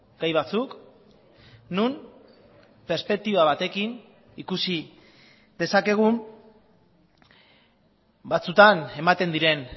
gai batzuk non perspektiba batekin ikusi dezakegun batzutan ematen diren